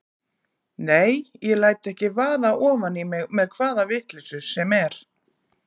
Nei, ég læt ekki vaða ofan í mig með hvaða vitleysu sem er.